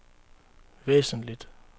væsentligt